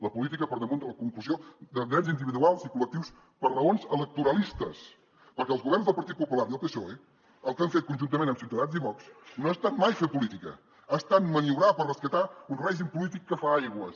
la política per damunt de la conculcació de drets individuals i col·lectius per raons electoralistes perquè els governs del partit popular i el psoe el que han fet conjuntament amb ciutadans i vox no ha estat mai fer política ha estat maniobrar per rescatar un règim polític que fa aigües